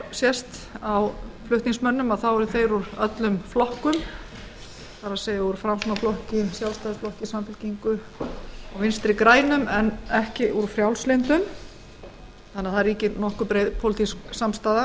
sést á flutningsmönnum koma þeir úr öllum flokkum það er úr framsóknarflokki sjálfstæðisflokki samfylkingu og vinstri grænum en ekki úr frjálslynda flokknum það ríkir því nokkuð breið pólitísk samstaða